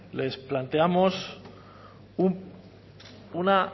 les planteamos una